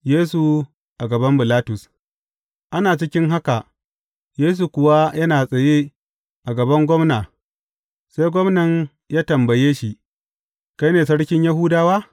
Yesu a gaban Bilatus Ana cikin haka, Yesu kuwa yana tsaye a gaban gwamna, sai gwamnan ya tambaye shi, Kai ne Sarkin Yahudawa?